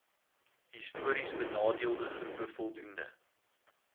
histories benadeeldegroepe voldoende